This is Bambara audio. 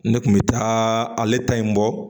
Ne kun bɛ taa ale ta in bɔ